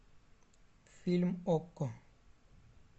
фильм окко